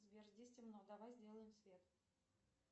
сбер здесь темно давай сделаем свет